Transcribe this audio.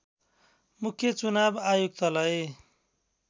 मुख्य चुनाव आयुक्तलाई